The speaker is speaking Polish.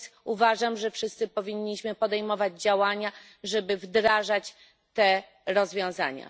Uważam, że wszyscy powinniśmy podejmować działania, żeby wdrażać te rozwiązania.